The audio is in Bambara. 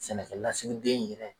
Sɛnɛkɛlasigi den in yɛrɛ